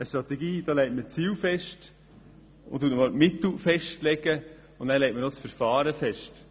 Mit einer Strategie legt man die Ziele, die Mittel und das Verfahren fest.